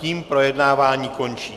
Tím projednávání končím.